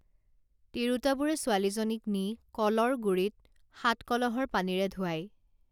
তিৰোতাবোৰে ছোৱালীজনীক নি কলৰ গুড়িত সাতকলহৰ পানীৰে ধুৱায়